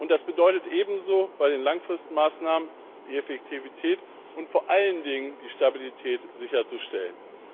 Das bedeutet ebenso, bei den langfristigen Maßnahmen die Effektivität und vor allen Dingen die Stabilität sicherzustellen.